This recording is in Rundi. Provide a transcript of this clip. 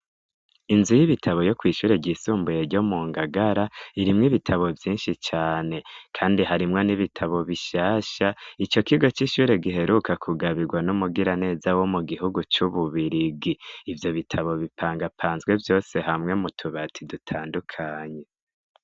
Inzu y'ibitabo yo kw'ishure ryisumbuye ryo mu Ngagara, irimwo ibitabo vyinshi cane kandi harimwo n'ibitabo bishasha, ico kigo c'ishure giheruka kugabirwa n'umugiraneza wo mu gihugu c'Ububirigi, ivyo bitabo bipangapanzwe vyose hamwe mu tubati dutandukanye.